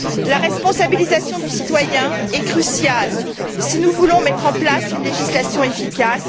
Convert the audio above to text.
La responsabilisation du citoyen est cruciale si nous voulons mettre en place une législation efficace.